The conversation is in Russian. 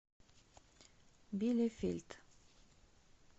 билефельд